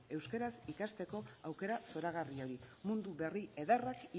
euskaraz ikasteko aukera zoragarri hori mundu berri ederrak